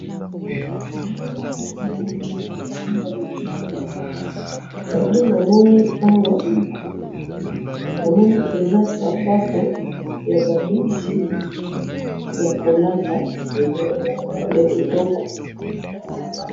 photo na moni awa, na moni eza sapato ya ba mwasi yako lata ya kitoko